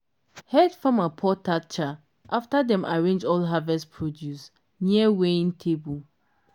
head farmer pour thatcher after dem arrange all harvest produce near weighing table.